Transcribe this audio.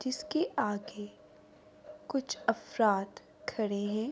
جسکے آگے کچھ افراد کھڈے ہے۔